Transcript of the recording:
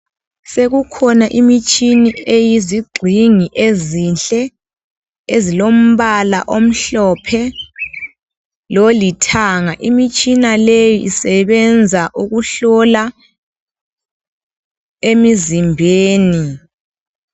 Sekukhona imitshini eyezigxingi ezinhle ezilombala omhlophe loli thanga imitshina leyi isebenza ukuhlola emizimbeni.